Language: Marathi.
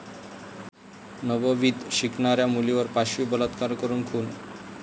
नववीत शिकणाऱ्या मुलीवर पाशवी बलात्कार करून खून